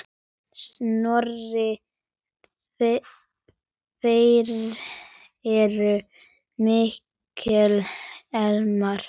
Sonur þeirra er Mikael Elmar.